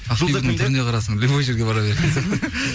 ақбибінің түріне қарасаң любой жерге бар беретін